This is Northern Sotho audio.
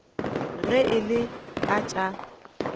ge e le ka tša